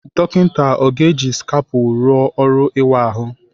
Dọkịta ọ ga-eji skapụ rụọ ọrụ ịwa ahụ?